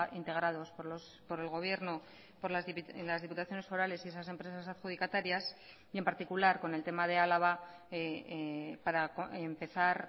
integrados por el gobierno por las diputaciones forales y esas empresas adjudicatarias y en particular con el tema de álava para empezar